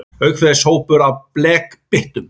Auk þess hópur af blekbyttum.